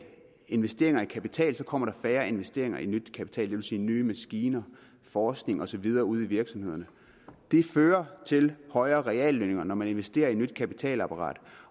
investeringer i kapital kommer der færre investeringer i ny kapital det vil sige nye maskiner forskning og så videre ude i virksomhederne det fører til højere reallønninger når man investerer i nyt kapitalapparat